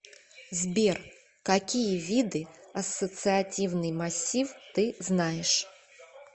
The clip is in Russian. сбер какие виды ассоциативный массив ты знаешь